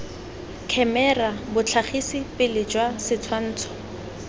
khemera botlhagisi pele jwa setshwantsho